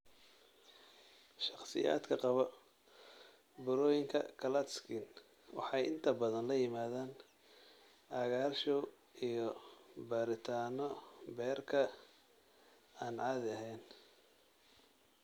Shakhsiyaadka qaba burooyinka Klatskin waxay inta badan la yimaadaan cagaarshow iyo baaritaanno beerka oo aan caadi ahayn.